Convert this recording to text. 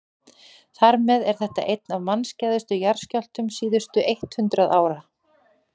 þar með er þetta einn af mannskæðustu jarðskjálftum síðustu eitt hundruð ára